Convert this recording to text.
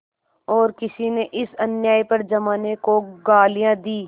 और किसी ने इस अन्याय पर जमाने को गालियाँ दीं